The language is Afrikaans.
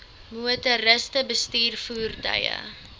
motoriste bestuur voertuie